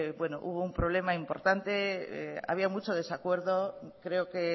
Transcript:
hubo un problema importante había mucho desacuerdo creo que